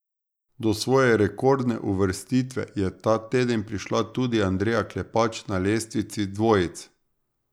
Do svoje rekordne uvrstitve je ta teden prišla tudi Andreja Klepač na lestvici dvojic.